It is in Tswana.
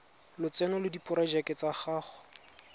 lotseno le diporojeke tsa go